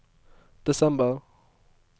desember